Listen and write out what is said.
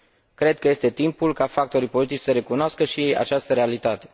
Cred că este timpul ca factorii politici să recunoască și ei această realitate.